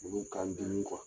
Olu kan n dimi